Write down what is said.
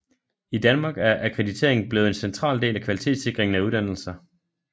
I Danmark er akkreditering blevet en central del af kvalitetssikringen af uddannelser